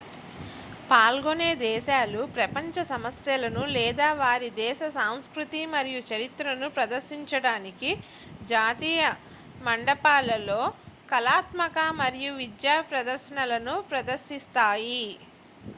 పాల్గొనే దేశాలు ప్రపంచ సమస్యలను లేదా వారి దేశ సంస్కృతి మరియు చరిత్రను ప్రదర్శించడానికి జాతీయ మంటపాలలో కళాత్మక మరియు విద్యా ప్రదర్శనలను ప్రదర్శిస్తాయి